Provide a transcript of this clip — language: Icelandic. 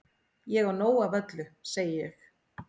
Ég á nóg af öllu segi ég.